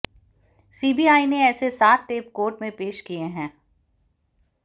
CBI ने ऐसे सात टेप कोर्ट में पेश किए हैं